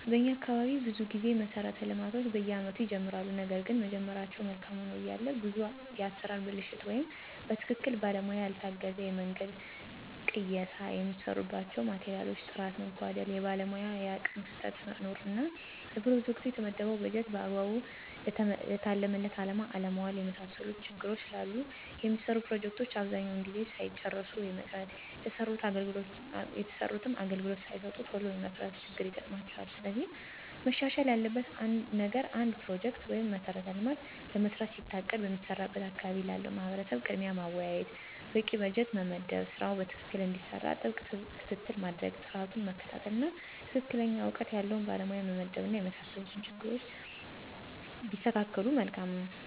በኛ አካባቢ ብዙ ጊዜ መሠረተ ልማቶች በየአመቱ ይጀመራሉ ነገርግን መጀመራቸው መልካም ሆኖ እያለ ብዙ የአሠራር ብልሽት ወይም በትክክለኛ ባለሙያ ያልታገዘ የመንገድ ቅየሳ፣ የሚሰሩባቸው ማቴሪያሎች ጥራት መጓደል፣ የባለሙያ የአቅም ክፍተት መኖር እና ለፕሮጀክቱ የተመደበውን በጀት በአግባቡ ለታለመለት አላማ አለማዋል የመሳሰሉት ችግሮች ስላሉ የሚሰሩ ፕሮጀክቶች አብዛኛውን ጊዜ ሳይጨረሱ የመቅረት፣ የተሰሩትም አገልግሎት ሳይሰጡ ቶሎ የመፍረስ ችግር ይገጥማቸዋል። ስለዚህ መሻሻል ያለበት ነገር አንድ ፕሮጀክት(መሠረተ ልማት)ለመስራት ሲታቀድ በሚሰራበት አካባቢ ላለው ማህበረሰብ ቅድሚያ ማወያየት፣ በቂ በጀት መመደብ ስራው በትክክል እንዲሰራ ጥብቅ ክትትል ማድረግ፣ ጥራቱን መከታተል፣ እና ትክክለኛ እውቀት ያለው ባለሙያ መመደብ እና የመሳሰሉት ችግሮች ቢስተካከሉ መልካም ነው።